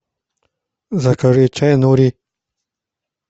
закажи чай нури